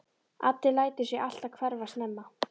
Addi lætur sig alltaf hverfa snemma.